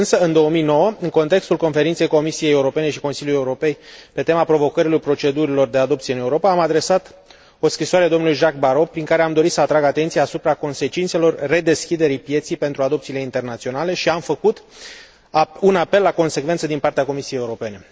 însă, în 2009, în contextul Conferinței Comisiei Europene și Consiliului Europei pe tema provocărilor procedurilor de adopție în Europa, am adresat o scrisoare domnului Jacques Barrot, prin care am dorit să atrag atenția asupra consecințelor redeschiderii pieței pentru adopțiile internaționale și am făcut un apel la consecvență din partea Comisiei Europene.